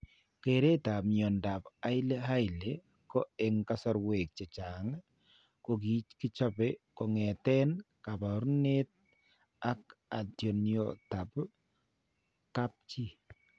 Kereetap mnyandoap Hailey Hailey ko eng' kasarwek chechang' ko kichope kong'eten kaabarunet ak atindoniotap kapchi.